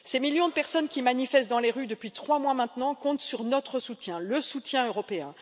Ces millions de personnes qui manifestent dans les rues depuis trois mois maintenant comptent sur notre soutien, le soutien européen.